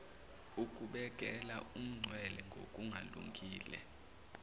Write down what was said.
ukubekela umncele ngokungalungile